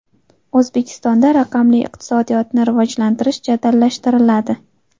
O‘zbekistonda raqamli iqtisodiyotni rivojlantirish jadallashtiriladi.